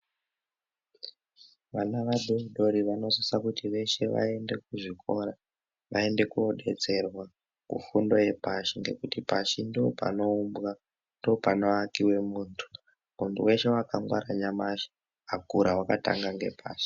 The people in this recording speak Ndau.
Vana vadodori vanosisa kuti veshe vaende kuzvikora vaende kudetserwa kufunda fundo yepashi nekuti pashi ndopanoumbwa panoakiwa muntu weshe akangwara nyamashi akatanga ngepashi.